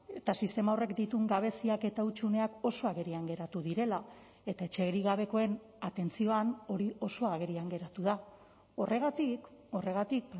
eta sistema horrek dituen gabeziak eta hutsuneak oso agerian geratu direla eta etxerik gabekoen atentzioan hori oso agerian geratu da horregatik horregatik